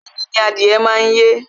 Ẹyin ni adìyẹ má ń yé